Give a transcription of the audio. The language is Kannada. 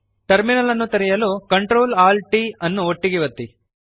ಟರ್ಮಿನಲ್ ಅನ್ನು ತೆರೆಯಲು CTRLALTT ಅನ್ನು ಒಟ್ಟಿಗೆ ಒತ್ತಿ